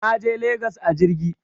Naje legas a jirgi